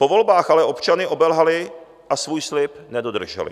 Po volbách ale občany obelhali a svůj slib nedodrželi.